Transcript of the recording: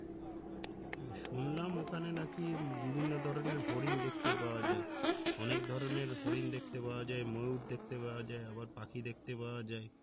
শুনলাম ওখানে নাকি বিভিন্ন ধরনের হরিণ দেখতে পাওয়া যায় অনেক ধরনের হরিণ দেখতে পাওয়া যায় ময়ূর দেখতে পাওয়া যায় আবার পাখি দেখতে পাওয়া যায়